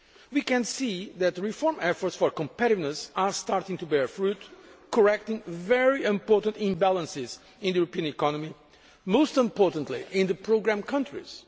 We can see that the reform efforts for competitiveness are starting to bear fruit, correcting very important imbalances in the European economy most importantly in the programme countries.